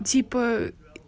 типа